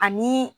Ani